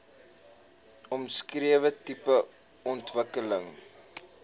omskrewe tipe ontwikkeling